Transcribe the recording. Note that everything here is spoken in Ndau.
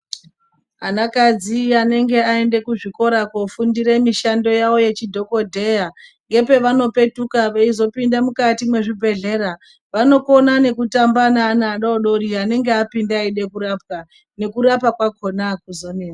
Anakadzi anenge aenda kuzvikora kofundire mishando yavo yechidhokodheya ngepavanopetuka veizopinde mukati mwezvibhehlera vanokona nekutamba neana adodori anonga apinde eide kurapwa ,nekurapwa kwachona hakuzonetsi.